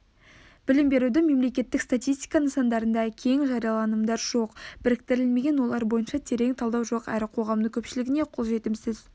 білім берудің мемлекеттік статистика нысандарында кең жарияланымдар жоқ біріктірілмеген олар бойынша терең талдау жоқ әрі қоғамның көпшілігіне қолжетімсіз